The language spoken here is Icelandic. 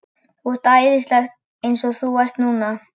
Þú ert æðisleg eins og þú ert núna.